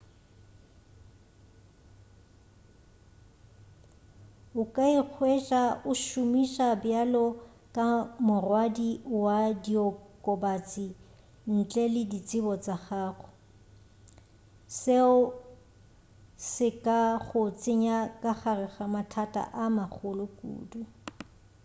o ka ikhweša o šomišwa bjalo ka morwadi wa diokobatši ntle le tsebo ya gago seo se ka go tsenya ka gare ga mathata a magolo kudu